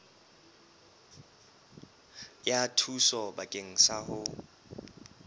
ya thuso bakeng sa ho